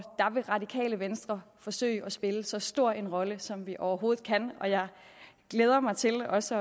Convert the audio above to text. radikale venstre forsøge at spille så stor en rolle som vi overhovedet kan og jeg glæder mig til også